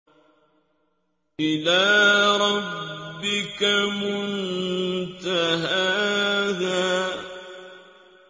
إِلَىٰ رَبِّكَ مُنتَهَاهَا